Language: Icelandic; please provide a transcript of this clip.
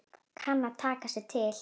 Kann að taka sig til.